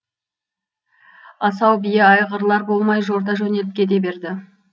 асау бие айғырлар болмай жорта жөнеліп кете берді